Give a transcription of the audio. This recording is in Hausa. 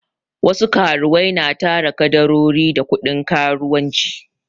Wasu karuwai na tara kadarori da kuɗin karuwanci